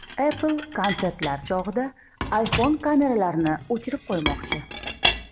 Apple konsertlar chog‘ida iPhone kameralarini o‘chirib qo‘ymoqchi.